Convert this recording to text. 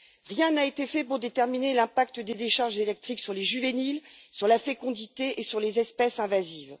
Rien n'a été fait pour déterminer l'impact des décharges électriques sur les juvéniles, sur la fécondité et sur les espèces invasives.